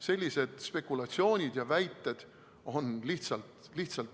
Sellised spekulatsioonid ja väited on lihtsalt alusetud.